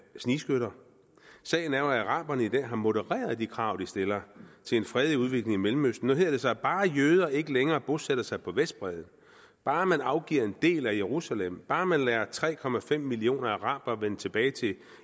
snigskytter sagen er jo at araberne i dag har modereret de krav de stiller til en fredelig udvikling i mellemøsten nu hedder det sig at bare jøder ikke længere bosætter sig på vestbredden bare man afgiver en del af jerusalem bare man lader tre millioner arabere vende tilbage til